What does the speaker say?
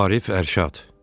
Arif Ərşad.